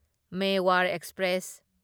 Mewar express